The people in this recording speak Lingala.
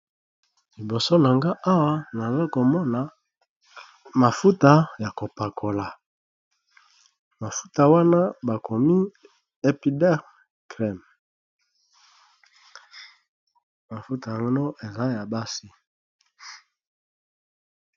Liboso na nga awa naza komona mafuta ya kopakola. mafuta wana bakomi epider crem mafuta ya gno eza ya basi.